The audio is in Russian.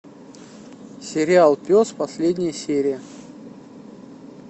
сериал пес последняя серия